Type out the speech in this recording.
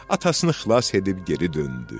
Atasını xilas edib geri döndü.